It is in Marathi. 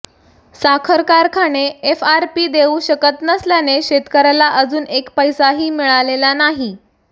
साखर कारखाने एफआरपी देऊ शकत नसल्याने शेतकर्याला अजून एक पैसाही मिळालेला नाही